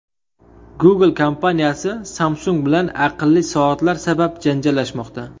Google kompaniyasi Samsung bilan aqlli soatlar sabab janjallashmoqda.